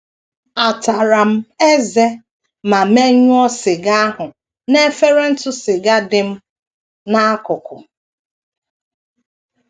Ataram m ezé ma meyuo siga ahụ n’efere ntụ siga dị m n’akụkụ.